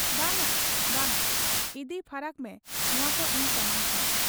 ᱵᱟᱝ ᱟ ᱵᱟᱝ ᱟ' ᱤᱫᱤ ᱯᱷᱟᱨᱟᱠ ᱢᱮ ᱱᱚᱶᱟᱠᱚ ᱤᱧ ᱥᱟᱢᱟᱝ ᱠᱷᱚᱱ ᱾